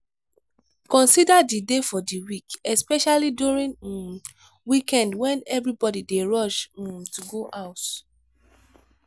consider the day for di week especially during um weekend when everybody dey rush um to go house